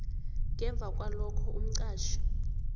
ngemva kwalokhoke umqatjhi